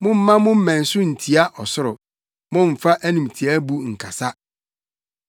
Mommma mo mmɛn so ntia ɔsoro; mommfa animtiaabu nkasa.’ ”